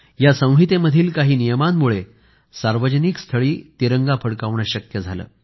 या संहितेमधील काही नियमांमुळे सार्वजनिक स्थळी तिरंगा फडकवणे शक्य झाले